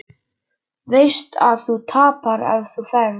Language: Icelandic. Veist að þú tapar ef þú ferð.